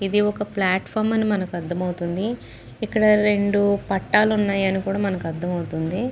ఇది ఒక ప్లాట్ఫామ్ అని మనకు అర్థమవుతుంది. ఇక్కడ రెండు పట్టాలు ఉన్నాయి అని కూడా మనకు అర్థం అవుతుంది.